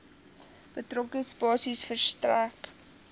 betrokke spasie verstrek